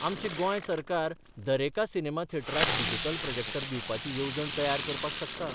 आमचें गोंय सरकार दरेका सिनेमा थेटराक डिजिटल प्रॉजॅक्टर दिवपाची येवजण तयार करपाक शकता.